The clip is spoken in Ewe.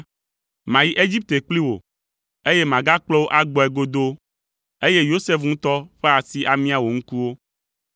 Mayi Egipte kpli wò, eye magakplɔ wò agbɔe godoo, eye Yosef ŋutɔ ƒe asi amia wò ŋkuwo.”